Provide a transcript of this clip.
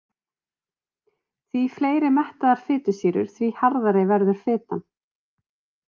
Því fleiri mettaðar fitusýrur því harðari verður fitan.